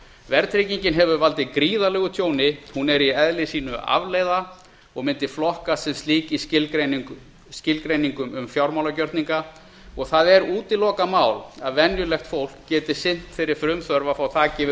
verðtryggingin hefur valdið gríðarlegu tjóni hún er í eðli sínu afleiða og myndi flokkast sem slík í skilgreiningum um fjármálagjörninga og það er útilokað mál að venjulegt fólk geti sinnt þeirri frumþörf að fá þak yfir